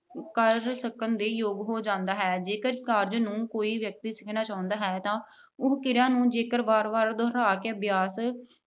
ਕਰ ਸਕਣ ਦੇ ਯੋਗ ਹੋ ਜਾਂਦਾ ਹੈ। ਜੇਕਰ ਕਾਰਜ ਨੂੰ ਕੋਈ ਵਿਅਕਤੀ ਸਿੱਖਣਾ ਚਾਹੁੰਦਾ ਹੈ ਤਾਂ ਉਹ ਕਿਰਿਆ ਨੂੰ ਜੇਕਰ ਵਾਰ-ਵਾਰ ਦੁਹਰਾ ਕੇ ਅਭਿਆਸ